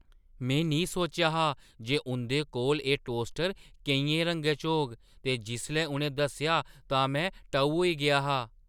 में नेईं सोचेआ हा जे उंʼदे कोल एह् टोस्टर केइयें रंगें च होग ते जिसलै उʼनें दस्सेआ तां में टऊ होई गेआ हा।